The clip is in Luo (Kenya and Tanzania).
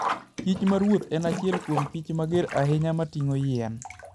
kich maruoth en achiel kuom kich mager ahinya mating'o yien.